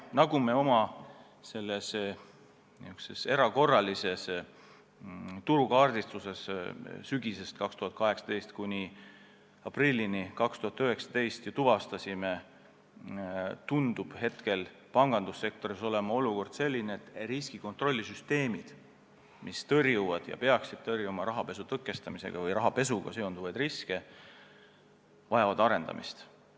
Nagu me oma erakorralises turukaardistuses sügisest 2018 kuni aprillini 2019 tuvastasime, tundub pangandussektoris olukord olevat selline, et riskikontrollisüsteemid, mis tõrjuvad või peaksid tõrjuma rahapesuga seonduvaid riske, vajavad arendamist.